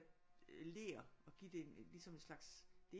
Ler og give ligesom en slags det